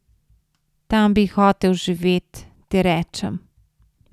Tam bi hotel živet, ti rečem.